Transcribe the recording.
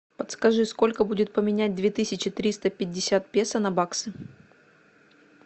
подскажи сколько будет поменять две тысячи триста пятьдесят песо на баксы